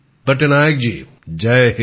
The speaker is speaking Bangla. পটনায়ক জি জয় হিন্দ